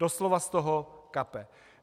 Doslova z toho kape.